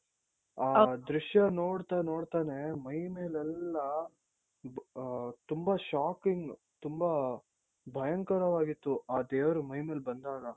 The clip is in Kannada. ಆ ದೃಶ್ಯ ನೋಡ್ತ ನೋಡ್ತಾನೆ ಮೈ ಮೇಲೆಲ್ಲಾ ಆ ತುಂಬಾ shocking ತುಂಬಾ ಭಯಂಕರವಾಗಿತ್ತು ಆ ದೇವ್ರು ಮೈ ಮೇಲ್ ಬಂದಾಗ .